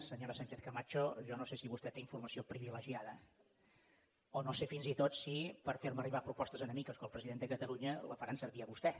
senyora sánchezcamacho jo no sé si vostè té informació privilegiada o no sé fins i tot si per ferme arribar propostes a mi que sóc el president de catalunya la faran servir a vostè